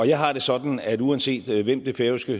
jeg har det sådan at uanset hvem det færøske